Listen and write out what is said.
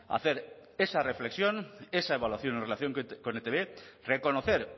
hacer esa reflexión esa evaluación en relación con etb reconocer